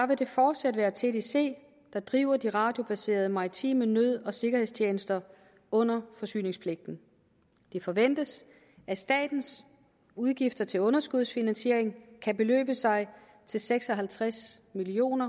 vil det fortsat være tdc der driver de radiobaserede maritime nød og sikkerhedstjenester under forsyningspligten det forventes at statens udgifter til underskudsfinansiering kan beløbe sig til seks og halvtreds million